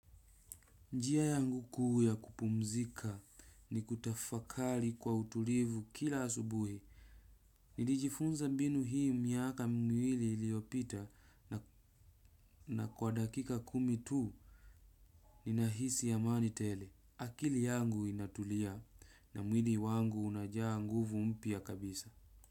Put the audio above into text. Njia yangu kuu ya kupumzika ni kutafakari kwa utulivu kila asubuhi. Nilijifunza mbinu hii miaka mwili iliyopita na kwa dakika kumi tuu. Ninahisi amani tele akili yangu inatulia na mwili wangu unajaa nguvu mpya kabisa.